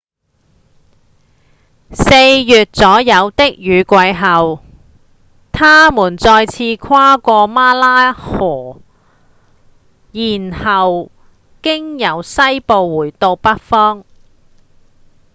四月左右的雨季後牠們再次跨過馬拉河然後經由西部回到北方